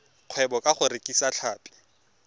kgwebo ka go rekisa tlhapi